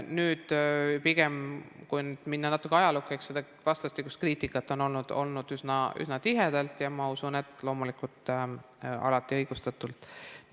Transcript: Kui nüüd minna natuke ajalukku, siis eks seda vastastikust kriitikat ole olnud üsna tihedalt ja ma usun, et loomulikult alati õigustatult.